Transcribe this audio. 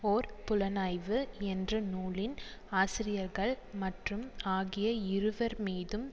ஒர் புலனாய்வு என்ற நூலின் ஆசிரியர்கள் மற்றும் ஆகிய இருவர் மீதும்